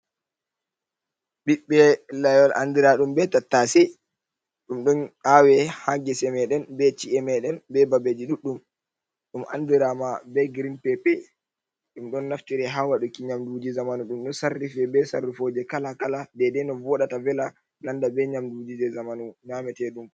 Ɓiɓɓe layol andiraaɗum be tattaase. Ɗum ɗon aawe haa gese meɗen be ci'e meɗen be babeji ɗuɗɗum. Ɗum andiraa ma be grin pepe. Ɗum ɗon naftire haa waɗuki nyamduji zamanu. Ɗum ɗo sarrife be sarrufoje kala-kala dedei no vooɗata vela, nanda be nyamduji jei zamanu nyaameteɗum.